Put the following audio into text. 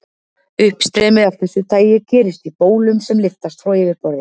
Uppstreymi af þessu tagi gerist í bólum sem lyftast frá yfirborði.